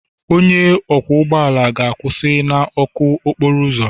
Onye ọkwọ ụgbọ ala ga-akwụsị na ọkụ okporo ụzọ.